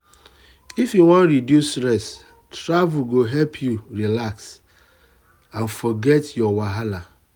if you wan reduce stress travel go help you relax and forget your wahala.